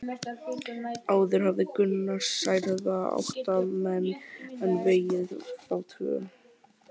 Áður hafði Gunnar særða átta menn en vegið þá tvo.